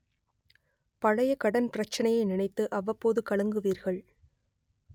பழைய கடன் பிரச்னையை நினைத்து அவ்வப்போது கலங்குவீர்கள்